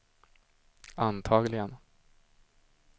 antagligen